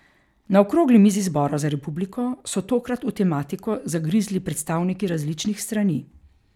Na okrogli mizi Zbora za republiko so tokrat v tematiko zagrizli predstavniki različnih strani.